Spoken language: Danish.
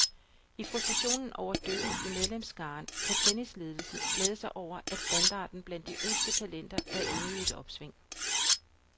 I frustrationen over dykket i medlemsskaren kan tennisledelsen glæde sig over, at standarden blandt de yngste talenter er inde i et opsving.